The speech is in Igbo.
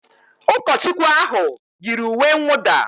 Ụkọchukwu ahụ yiri uwe nwụda